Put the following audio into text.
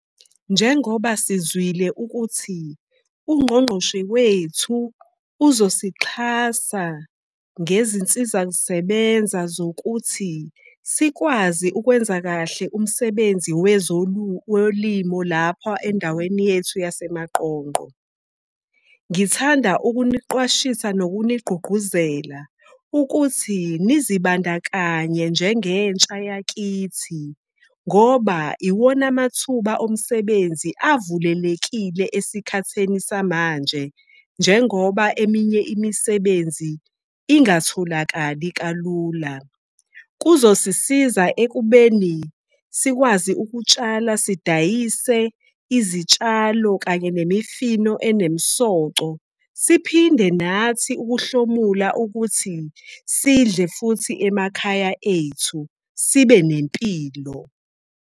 Njengoba sizwile ukuthi uNgqongqoshe wethu uzosixhasa ngezinsiza kusebenza zokuthi sikwazi ukwenza kahle umsebenzi wezolimo lapha endaweni yethu yaseManqongqo. Ngithanda ukuniqwashisa nokuniqugquzela ukuthi nizibandakanye njengentsha yakithi. Ngoba iwona amathuba omsebenzi avulelekile esikhatheni samanje, njengoba eminye imisebenzi ingatholakali kalula. Kuzosisiza ekubeni sikwazi ukutshala sidayise izitshalo kanye nemifino enemisoco. Siphinde nathi ukuhlomula ukuthi sidle futhi emakhaya ethu sibe nempilo.